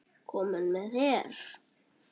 Kominn með her!